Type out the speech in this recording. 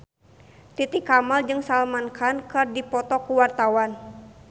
Titi Kamal jeung Salman Khan keur dipoto ku wartawan